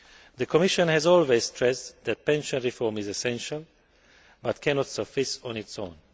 The Commission has always stressed that pension reform is essential but cannot suffice on its own.